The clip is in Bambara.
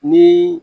Ni